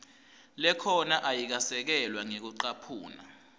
lekhona ayikasekelwa ngekucaphuna